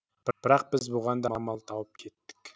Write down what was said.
бірақ біз бұған да амал тауып кеттік